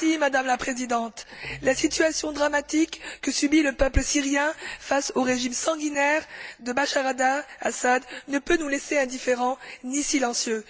Madame la Présidente, la situation dramatique que subit le peuple syrien face au régime sanguinaire de Bachar el Assad ne peut nous laisser indifférents ni silencieux.